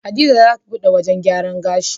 Hadiza zata buɗe wajan gyaran gashi